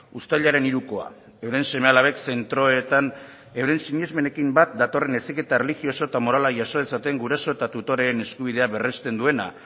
uztailaren hirukoa euren seme alabek zentroetan euren sinesmenekin bat datorren heziketa erlijioso eta morala jaso dezaten guraso eta tutoreen eskubideak berresten duena